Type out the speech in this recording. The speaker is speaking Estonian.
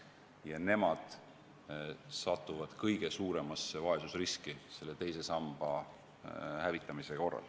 Just nemad satuvad kõige suuremasse vaesusriski, kui teine sammas hävitatakse.